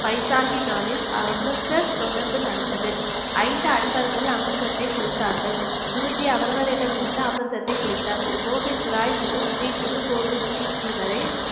பைசாஹி நாளில் அமிர்த தொடர்பு நடந்தது ஐந்து அன்பர்கள் அமிர்தத்தை குடித்தார்கள் குருஜி அவர்களிடமிருந்து அமிர்தத்தை குடித்தார் கோவிந்ராய் முதல் ஸ்ரீ குரு கோவிந்த் சிங் ஜி வரை